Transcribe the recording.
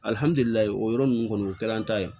o yɔrɔ ninnu kɔni o kɛra an ta ye